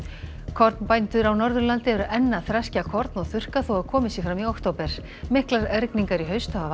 kornbændur á Norðurlandi eru enn að þreskja korn og þurrka þó að komið sé fram í október miklar rigingar í haust hafa